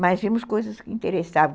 Mas vimos coisas que interessavam.